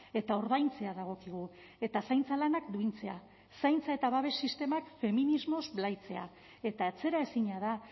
eta ordaintzea dagokigu eta zaintza lanak duintzea zaintza eta babes sistemak feminismoz blaitzea eta atzeraezina da